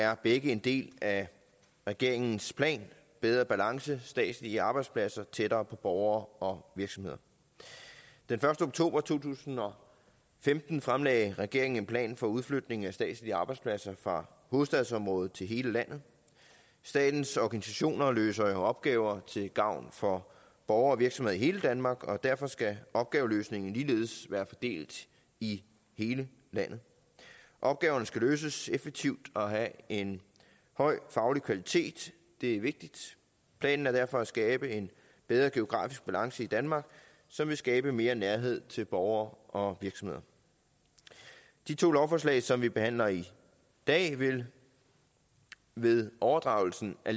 er begge en del af regeringens plan bedre balance statslige arbejdspladser tættere på borgere og virksomheder den første oktober to tusind og femten fremlagde regeringen en plan for udflytning af statslige arbejdspladser fra hovedstadsområdet til hele landet statens organisationer løser jo opgaver til gavn for borgere og virksomheder i hele danmark og derfor skal opgaveløsningen ligeledes være fordelt i hele landet opgaverne skal løses effektivt og have en høj faglig kvalitet det er vigtigt planen er derfor at skabe en bedre geografisk balance i danmark som vil skabe mere nærhed til borgere og virksomheder de to lovforslag som vi behandler i dag vil ved overdragelsen af